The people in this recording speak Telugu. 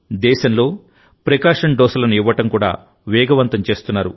దేశంలో ప్రి కాషన్ డోసులను ఇవ్వడం కూడా వేగవంతం చేస్తున్నారు